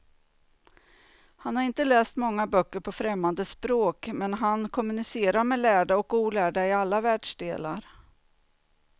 Han har inte läst många böcker på främmande språk, men han kommunicerar med lärda och olärda i alla världsdelar.